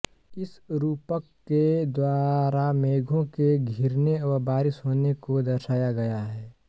इस रूपक के द्वारा मेघों के धिरने व बारिश होने को दर्शाया गया है